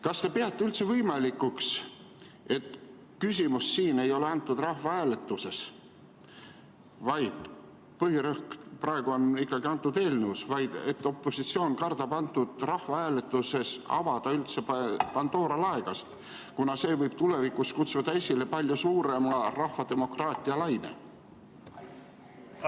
Kas te peate üldse võimalikuks, et küsimus siin ei ole rahvahääletuses – põhirõhk praegu on ikkagi antud eelnõul –, vaid et opositsioon kardab rahvahääletusega avada üldse Pandora laegast, kuna see võib tulevikus kutsuda esile palju suurema rahvademokraatia laine?